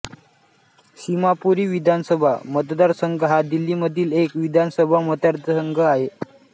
सीमापुरी विधानसभा मतदारसंघ हा दिल्लीमधील एक विधानसभा मतदारसंघ आहे